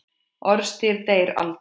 Orðstír deyr aldrei.